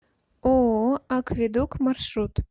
ооо акведук маршрут